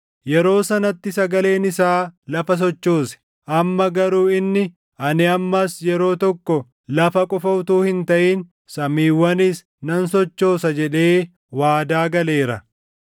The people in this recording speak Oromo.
Yeroo sanatti sagaleen isaa lafa sochoose; amma garuu inni, “Ani ammas yeroo tokko lafa qofa utuu hin taʼin samiiwwanis nan sochoosa” + 12:26 \+xt Hag 2:6\+xt* jedhee waadaa galeera.